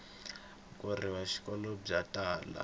khorwisa vuxokoxoko byo tala